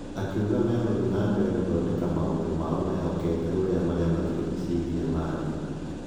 Akiuga megũthiĩ na mbere gũthondeka maũndũ mao mehokete ũrĩa marĩa matũrigicĩirie marĩ.